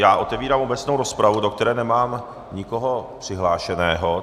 Já otevírám obecnou rozpravu, do které nemám nikoho přihlášeného.